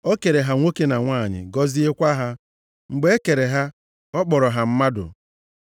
O kere ha nwoke na nwanyị, gọziekwa ha. Mgbe e kere ha, ọ kpọrọ ha mmadụ.